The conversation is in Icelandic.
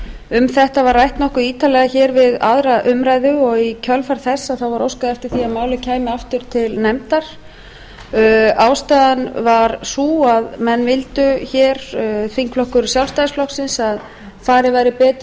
um þetta var rætt nokkuð ítarlega hér við aðra umræðu og í kjölfar þess var óskað eftir því að málið kæmi aftur til nefndar ástæðan var sú að menn vildu hér þingflokkur sjálfstæðisflokksins að farið væri betur